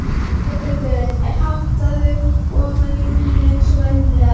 Þórbergur er háttaður ofan í rúm eins og venjulega.